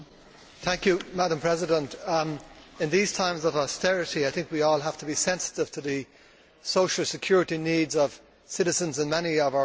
Madam President, in these times of austerity, I think we all have to be sensitive to the social security needs of citizens in many of our countries.